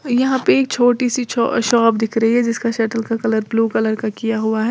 यहां पे एक छोटी सी छो शॉप दिख रही है जिसका शटल का कलर ब्लू कलर का किया हुआ है।